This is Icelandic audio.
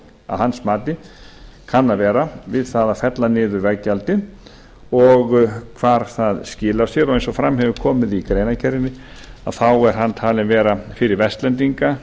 að hans mati kann að vera við það að fella niður veggjaldið og hvar það skilar sér og eins og fram hefur komið í greinargerðinni þá er hann talinn vera fyrir vestlendinga